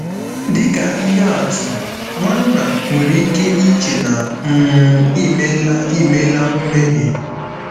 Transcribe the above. Dị ka ihe atụ, nwanna nwere ike iche na um i meela i meela mmehie.